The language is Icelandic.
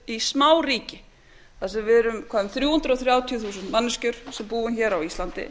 í smáríki þar sem við erum eitthvað um þrjú hundruð þrjátíu þúsund manneskjur sem búum á íslandi